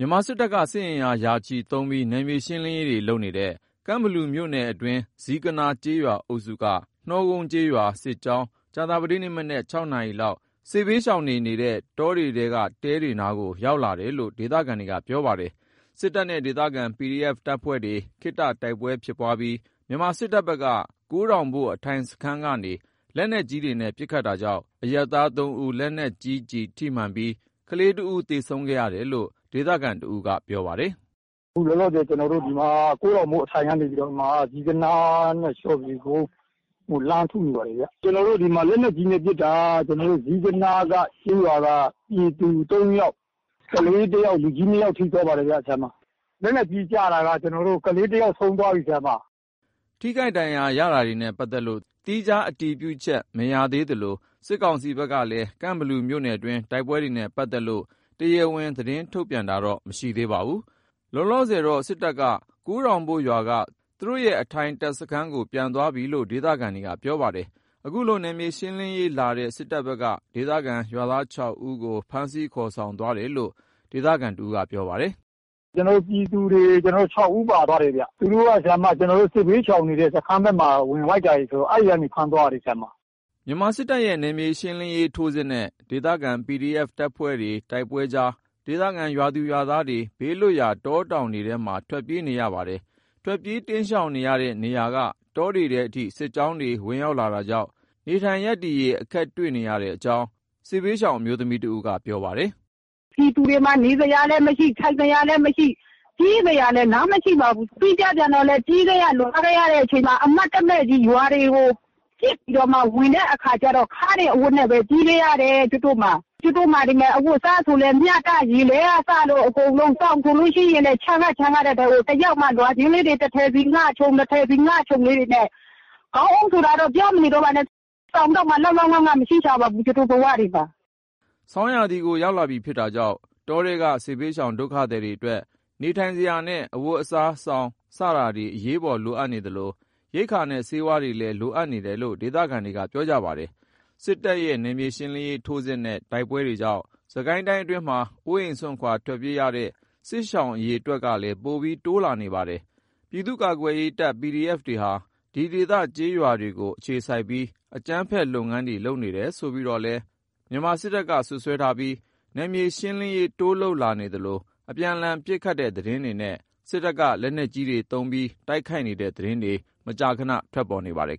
ြန်မာစစ်တပ်က စစ်အင်အား ရာချီသုံးပြီး နယ်မြေရှင်းလင်းရေးတွေ လုပ်နေတဲ့ ကန့်ဘလူမြို့နယ်အတွင်း ဇီးကနား ကျေးရွာအုပ်စုက နှောကုန်း ကျေးရွာ စစ်ကြောင်း ကြာသပတေးနေ့မနက် ၆ နာရီလောက် စစ်ဘေးရှောင်တွေ နေနေတဲ့တောင်ထဲက တဲတွေနားကို ရောက်လာတာလို့ ဒေသခံတွေက ပြောပါတယ်။ စစ်တပ်နဲ့ ဒေသခံ PDF တပ်ဖွဲ့တွေ ခတ္တ တိုက်ပွဲဖြစ်ပွားပြီး မြန်မာစစ်တပ်ဖက်က ကိုးတောင်ဘို့ အထိုင်စခန်းကနေ လက်နက်ကြီးတွေနဲ့ ပစ်ခတ်တာကြောင့် အရပ်သား ၃ ဦး လက်နက်ကြီး ထိမှန်ပြီး ကလေးတစ်ဦး သေဆုံးခဲ့တယ်လို့ ဒေသခံတစ်ဦးက ခုလိုပြောပြပါတယ်။ “အခုလောလောဆယ် ကျွန်တော်တို့ ဒီမှာ ကိုးထောင်ဘို့အထိုင်က နေပြိးတော့မှ ဇီးကနားနဲ့ လျော်ဖြူကုန်းကို လှမ်းထုနေပါတယ်ဗျ။ ကျွန်တော်တို့ ဒီမှာ လက်နက်ကြီးနဲ့ ပစ်တာ ကျွန်တော်တို့ ဇီးကနားက ကျေးရွာက ပြည်သူ ၃ ယောက်၊ ကလေးတစ်ယောက် လူကြီး ၂ ယောက် ထိသွားပါတယ်ဗျ။ လက်နက်ကြီးကျတာက အခု ခလေးတစ်ယောက် ဆုံးသွားပြီဗျ။” ထိခိုက် ဒဏ်ရာရတာတွေနဲ့ ပတ်သက်လို့ သီးခြား အတည်ပြုချက် မရသေးသလို စစ်ကောင်စီဘက်ကလည်း ကန့်ဘလူမြို့နယ်တွင်း တိုက်ပွဲတွေနဲ့ ပတ်သက်လို့ တရားဝင် သတင်းထုတ်ပြန်တာတော့ မရှိသေးပါဘူး။ လောလောဆယ်တော့ စစ်တပ်က ကိုးထောင်ဘို့ရွာက သူတို့ရဲ့ အထိုင်တပ်စခန်းကို ပြန်သွားပြီလို့ ဒေသခံတွေက ပြောပါတယ်။ ခုလို နယ်မြေရှင်းလင်းရေးလာတဲ့ စစ်တပ်ဘက်က ဒေသခံရွာသား ၆ ဦးကို ဖမ်းဆီးခေါ်ဆောင်သွားတယ်လို့ ဒေသခံ တစ်ဦးက ပြောပါတယ်။ “ကျွန်တော်တို့ ပြည်သူတွေ ၆ ဦးပါသွားတယ်ဗျ။ သူတို့က ကျွန်တော်တို့ စစ်ဘေးရှောင်နေတဲ့ စခန်းဖက်မှာ ဝင် တိုက်တာတွေ ဆိုတော့ အဲ့ဖက်ကနေ ဖမ်းသွားတာတွေပါဗျ။” မြန်မာစစ်တပ်ရဲ့ နယ်မြေရှင်းလင်းရေး ထိုးစစ်နဲ့ ဒေသခံ PDF အဖွဲ့တွေနဲ့ တိုက်ပွဲတွေအကြား ဒေသခံ ကျေးရွာသူ ကျေးရွာသားတွေ ဘေးလွတ်ရာ တောတောင်တွေထဲမှာ ထွက်ပြေးနေကြရပါတယ်။ ထွက်ပြေးတိမ်းရှောင်နေတဲ့ နေရာက တောတွေထဲအထိ စစ်ကြောင်းတွေ ဝင်လာတာကြောင့် နေထိုင်ရပ်တည်ရေး အခက်တွေ့နေရတဲ့အကြောင်း စစ်ရှောင် အမျိုးသမီးတဦးက ပြောပါတယ်။ “ပြည်သူတွေမှာ နေစရာလည်းမရှိ ထိုင်စရာလည်းမရှိ၊ ပြေးစရာလည်း လမ်းမရှိပါဘူး။ ပြီးတော့လည်း ပြေးခဲ့ရ လွှားခဲ့ရတဲ့ အချိန်မှာ အမှတ်တမဲ့ကြီး ရွာတွေကို ပစ်ပြီးတော့မှ ဝင်တဲ့အခါကျတော့ ခါးနေအဝတ်နဲ့ပဲ ပြေးခဲ့ရတယ် ကျုပ်တို့မှာ။ ကျုပ်တို့မှာ ဒီမယ် အဝတ်အစား ဆိုလည်း မျှတပြီး ရေလဲကစလို့ အကုန်လုံး။ စောင်ဆိုလို့ရှိရင်လည်း ချမ်းကချမ်းနဲ့ ချမ်းရတဲ့အထဲ လွှာချင်းလေးတွေ တစ်ထည်စီ ငှခြုံ၊ နှစ်ထည်စီ ငှခြုံလေးတွေနဲ့ ခေါင်းအုံးဆိုတာတော့ ပြောမနေတော့ပါနဲ့ စောင်တောင်မှ လောက်လောက်ငှငှ မရှိရှာပါဘူး ကျုပ်တို့ဘဝတွေမှာ။” ဆောင်းရာသီကို ရောက်လာပြီ ဖြစ်တာကြောင့် တောထဲက စစ်ဘေးရှောင် ဒုက္ခသည်တွေအတွက် နေထိုင်စရာနဲ့ အဝတ်အစား၊ စောင် စတာတွေ အရေးပေါ် လိုအပ်နေသလို ရိက္ခာနဲ့ ဆေးဝါးတွေလည်း လိုအပ်နေတယ်လို့ ဒေသခံတွေက ပြောကြပါတယ်။ စစ်တပ်ရဲ့ နယ်မြေရှင်းလင်းရေး ထိုးစစ်နဲ့ တိုက်ပွဲတွေကြောင့် စစ်ကိုင်းတိုင်းအတွင်းမှာ အိုးအိမ်စွန့်ခွာ ထွက်ပြေးနေရတဲ့ စစ်ရှောင် အရေအတွက်ကလည်း ပိုပြီး တိုးလာနေပါတယ်။ ပြည်သူ့ကာကွယ်ရေးတပ် PDF တွေဟာ ဒီဒေသ ကျေးရွာတွေကို အခြေစိုက်ပြီး အကြမ်းဖက် လုပ်ငန်းတွေ လုပ်နေတယ်ဆိုပြီးတော့လည်း မြန်မာစစ်တပ်က စွပ်စွဲထားပြီး နယ်မြေရှင်းလင်းရေး တိုးလုပ် လာနေသလို အပြန်အလှန် ပစ်ခတ်တဲ့ သတင်းတွေနဲ့ စစ်တပ်က လက်နက်ကြီးတွေသုံး တိုက်ခိုက်တဲ့သတင်းတွေ မကြာခန ထွက်ပေါ်နေပါတယ်